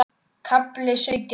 KAFLI SAUTJÁN